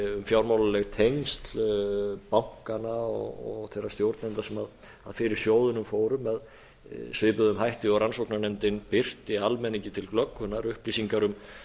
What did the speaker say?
fjármálaleg tengsl bankanna og þeirra stjórnenda sem fyrir sjóðunum fóru með svipuðum hætti og rannsóknarnefndin birti almenningi til glöggvunar upplýsingar um